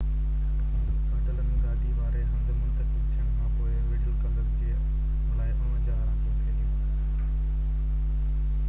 ڪاٽالان-گادي واري هنڌ منتقل ٿيڻ کانپوءِ وڊل ڪلب جي لاءِ 49 رانديون کيڏيون